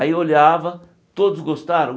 Aí olhava, todos gostaram?